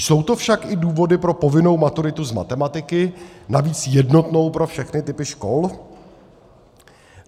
Jsou to však i důvody pro povinnou maturitu z matematiky, navíc jednotnou pro všechny typy škol?